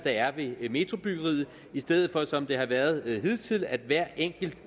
er ved metrobyggeriet i stedet for som det har været hidtil at hver enkelt